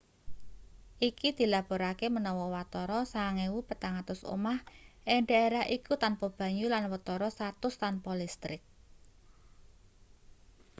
iki dilaporake menawa watara 9400 omah ing daerah iku tanpa banyu lan watara 100 tanpa listrik